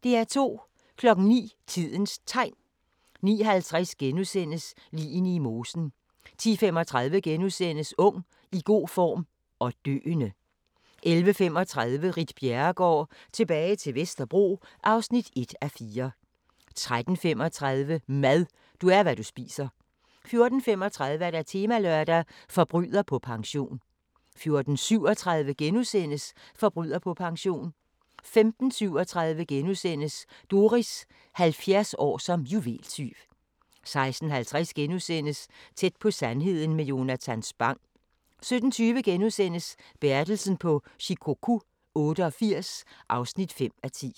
09:00: Tidens Tegn 09:50: Ligene i mosen * 10:35: Ung, i god form – og døende! * 11:35: Ritt Bjerregaard – tilbage til Vesterbro (1:4) 13:35: Mad – du er, hvad du spiser 14:35: Temalørdag: Forbryder på pension 14:37: Forbryder på pension * 15:37: Doris – 70 år som juveltyv * 16:50: Tæt på sandheden med Jonatan Spang * 17:20: Bertelsen på Shikoku 88 (5:10)*